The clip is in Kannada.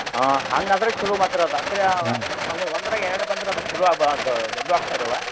ಹಾ ಹಂಗಾದ್ರೆ ಚೊಲೋ ಮತ್ರಿ ಅದ ಕರೆ ಹಂಗ ಒಂದ್ರಾಗೆ ಎರಡ್ ಬಂದ್ರ ಅದ್ ಚೊಲೋ ದೊಡ್ಡು ಆಕ್ಕಾವ್ರಿ ಅವ?